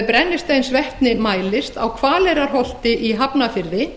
brennisteinsvetni mælist á hvaleyrarholti í hafnarfirði